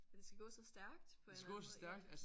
At det skal gå så stærkt på en eller anden måde ja